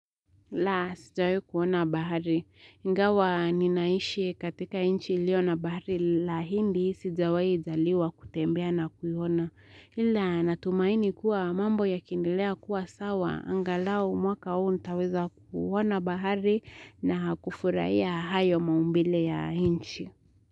La sijawahi kuona bahari. Ingawa ninaishi katika nchi iliona bahari la Indi sijawahijaliwa kutembea na kuiona. Hila natumaini kuwa mambo yakiendelea kuwa sawa. Angalau mwaka huu nitaweza kuona bahari na kufurahia hayo maumbile ya inchi.